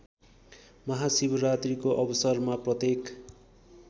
महाशिवरात्रीको अवसरमा प्रत्येक